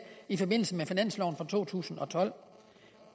i forbindelse med finansloven for to tusind og tolv